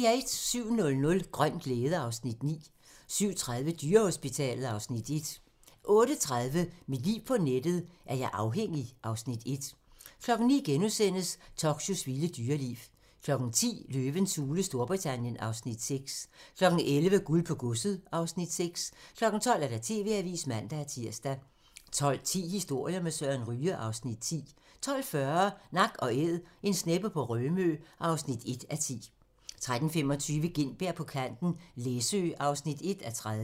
07:00: Grøn glæde (Afs. 9) 07:30: Dyrehospitalet (Afs. 1) 08:30: Mit liv på nettet: Er jeg afhængig? (Afs. 1) 09:00: Tokyos vilde dyreliv * 10:00: Løvens hule Storbritannien (Afs. 6) 11:00: Guld på godset (Afs. 6) 12:00: TV-avisen (man-tir) 12:10: Historier med Søren Ryge (Afs. 10) 12:40: Nak & Æd - en sneppe på Rømø (1:10) 13:25: Gintberg på kanten - Læsø (1:30)